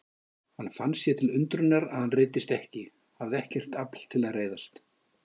Hann fann sér til undrunar að hann reiddist ekki, hafði ekkert afl til að reiðast.